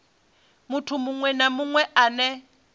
muthu muṅwe na muṅwe ane